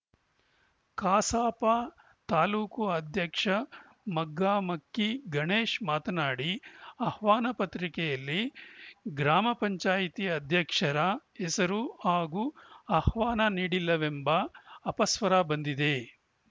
ಕಸಾಪ ತಾಲೂಕು ಅಧ್ಯಕ್ಷ ಮಗ್ಗಮಕ್ಕಿ ಗಣೇಶ್‌ ಮಾತನಾಡಿ ಆಹ್ವಾನ ಪತ್ರಿಕೆಯಲ್ಲಿ ಗ್ರಾಮ ಪಂಚಾಯತಿ ಅಧ್ಯಕ್ಷರ ಹೆಸರು ಹಾಗೂ ಆಹ್ವಾನ ನೀಡಿಲ್ಲವೆಂಬ ಅಪಸ್ವರ ಬಂದಿದೆ